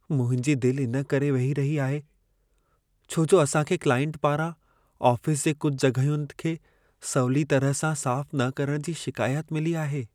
मुंहिंजी दिल इन करे वेही रही आहे, छो जो असां खे क्लाइंट पारां आफ़िस जे कुझु जॻहियुनि खे सवली तरह सां साफ़ न करण जी शिकायत मिली आहे।